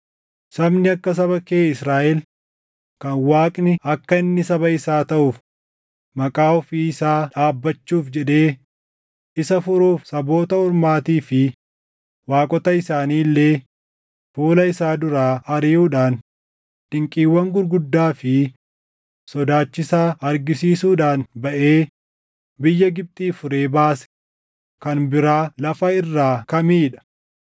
Sabni akka saba kee Israaʼel, kan Waaqni akka inni saba isaa taʼuuf maqaa ofii isaa dhaabbachuuf jedhee isa furuuf saboota ormaatii fi waaqota isaanii illee fuula isaa duraa ariʼuudhaan dinqiiwwan gurguddaa fi sodaachisaa argisiisuudhaan baʼee biyya Gibxii furee baase kan biraa lafa irraa kamii dha?